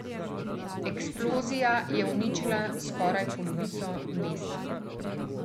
Eksplozija je uničila skoraj polovico mesta.